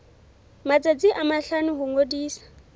matsatsi a mahlano ho ngodisa